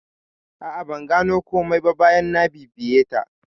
A'a, ban gano komai ba bayan na bibiye ta.